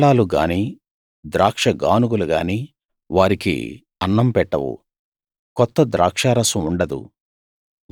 కళ్ళాలు గాని ద్రాక్షగానుగలు గాని వారికి అన్నం పెట్టవు కొత్త ద్రాక్షారసం ఉండదు